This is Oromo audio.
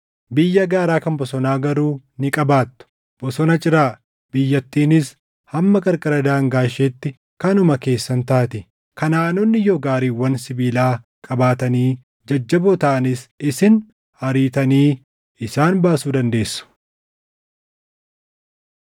Biyya gaaraa kan bosonaa garuu ni qabaattu; bosona ciraa; biyyattiinis hamma qarqara daangaa isheetti kanuma keessan taati; Kanaʼaanonni yoo gaariiwwan sibiilaa qabaatanii jajjaboo taʼanis isin ariitanii isaan baasuu dandeessu.”